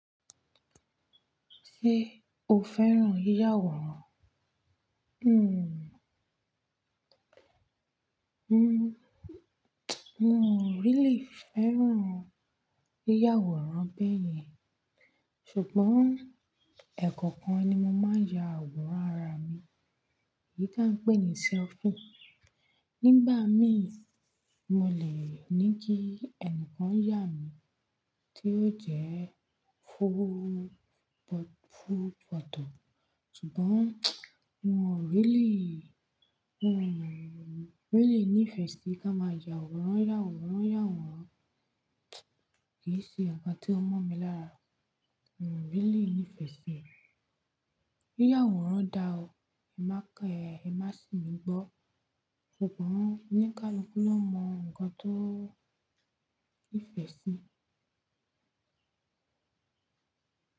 Ṣé o fẹ́ràn yíyàwòrán? Hmm. Hmm, mo ò really fẹ́ràn yíyàwòrán bẹ́yẹn. Ṣùgbọ́n ẹ̀kọ̀kan ni mo máa ń ya àwòrán ara mi, èyí tó ń pè ní selfie. Nígbà mí, mo lè ní kí ẹnìkan yà mí, tí yóò jẹ́ fúù, fúù pọ̀tọ̀. Ṣùgbọ́n mo ò really, mo ò really nífẹ̀ẹ́ sí kí a máa ya àwòrán yàwòrán, yàwòrán. Kì í ṣe ǹkan tó mọ̀ mi lára. Mo ò really nífẹ̀ẹ́ sí rẹ̀. Yíyàwòrán dára o, ẹ má kẹ ẹ, ẹ má sì mí gbọ́. Ṣùgbọ́n ní ká lọ kú lọ mọ ǹkan tó nífẹ̀ẹ́ sí.